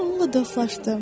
Mən onunla dostlaşdım.